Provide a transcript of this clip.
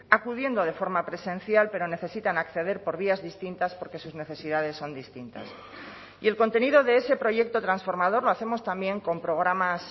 acudiendo de forma presencial pero necesitan acceder por vías distintas porque sus necesidades son distintas y el contenido de ese proyecto transformador lo hacemos también con programas